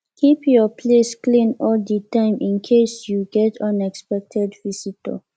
keep your place clean all di time in case you get unexpected visitor